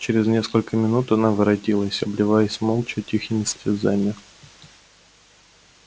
через несколько минут она воротилась обливаясь молча тихими слезами